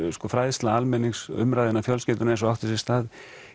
fræðsla almennings umræða innan fjölskyldunnar eins og átti sér stað